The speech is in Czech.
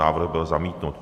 Návrh byl zamítnut.